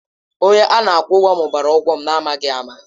Onye a na-akwụ ụgwọ mụbara ụgwọ m n'amaghị ama.